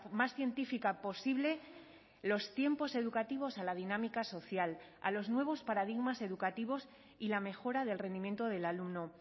más científica posible los tiempos educativos a la dinámica social a los nuevos paradigmas educativos y la mejora del rendimiento del alumno